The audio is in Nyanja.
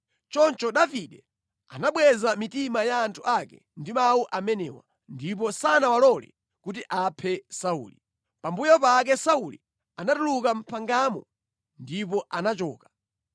Choncho Davide anabweza mitima ya anthu ake ndi mawu amenewa, ndipo sanawalole kuti aphe Sauli. Pambuyo pake Sauli anatuluka mʼphangamo ndipo anachoka.